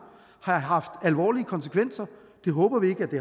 have haft alvorlige konsekvenser det håber vi ikke det